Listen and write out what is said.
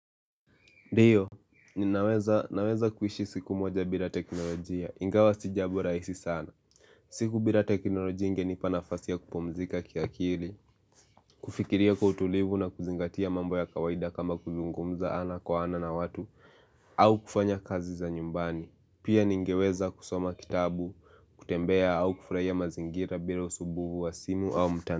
Ndiyo, ninaweza kuishi siku moja bila teknolojia, ingawa si jambo rahisi sana siku bila teknolojia ingenipa nafasi ya kupumzika ki akili kufikiria kwa utulivu na kuzingatia mambo ya kawaida kama kuzungumza ana kwa ana na watu au kufanya kazi za nyumbani Pia ningeweza kusoma kitabu, kutembea au kufuraia mazingira bila usumbufu wa simu au mtani.